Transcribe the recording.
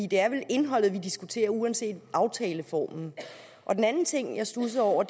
det er vel indholdet vi diskuterer uanset aftaleformen den anden ting jeg studsede over